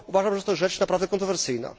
Uważam, że to rzecz naprawdę kontrowersyjna.